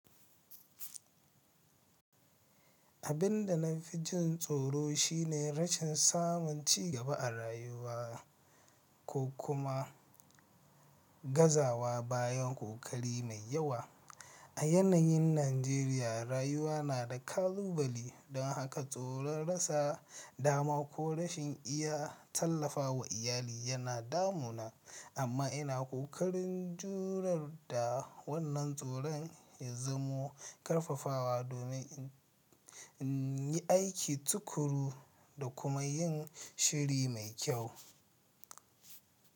Abin da na fi jin tsoro shi ne rashin samun cigaba a rayuwa ko kuma gazawa bayan ƙoƙari mai yawa. A yanayin Najeriya, rayuwa na da ƙalubali, don haka tsoron rasa dama ko rashin iya tallafawa iyali yana damuna. Amma ina ƙoƙarin jurar da wannan tsoron ya zamo ƙarfafawa domin in yi aiki tuƙuru da kuma yin shiri mai kyau.